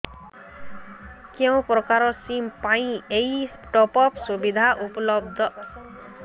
କେଉଁ ପ୍ରକାର ସିମ୍ ପାଇଁ ଏଇ ଟପ୍ଅପ୍ ସୁବିଧା ଉପଲବ୍ଧ